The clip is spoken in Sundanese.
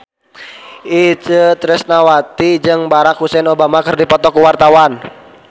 Itje Tresnawati jeung Barack Hussein Obama keur dipoto ku wartawan